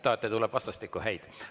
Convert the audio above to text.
Vastastikku tuleb häid tsitaate.